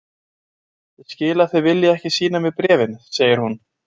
Ég skil að þið viljið ekki sýna mér bréfin, segir hún.